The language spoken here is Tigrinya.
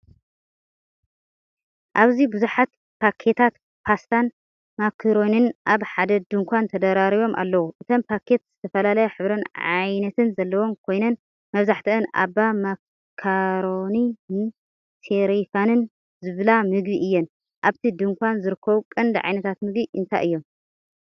ኣብዚ ብዙሓት ፓኬታት ፓስታን ማካሮኒን ኣብ ሓደ ድኳን ተደራሪቦም ኣለዉ። እተን ፓኬት ዝተፈላለየ ሕብርን ዓይነታትን ዘለወን ኮይነን መብዛሕትአን “ኦባ ማካሮኒ”ን “ሴሪፋም”ን ዝበሃላ ምግቢ እየን። ኣብቲ ድኳን ዝርከቡ ቀንዲ ዓይነታት ምግቢ እንታይ እዮም?